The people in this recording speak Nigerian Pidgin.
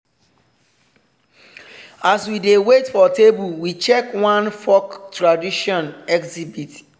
as we dey wait for table we check one folk tradition exhibit.